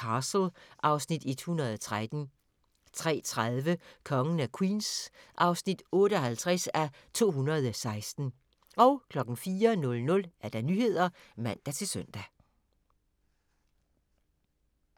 Castle (Afs. 113) 03:30: Kongen af Queens (58:216) 04:00: Nyhederne (man-søn)